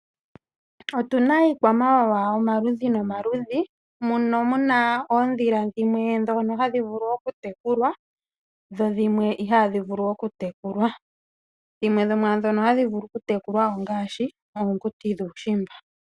Otuna iikwamawawa omaludhi nomaludhi, mono muna oodhila dhimwe dhono hadhi vulu okutekulwa, dho dhimwe ihadhi vulu okutekulwa Dhimwe dho mwaadhono hadhi vulu okutekulwa ongaashi oonguti dhokuushimba.